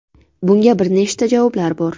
Bunga bir nechta javoblar bor.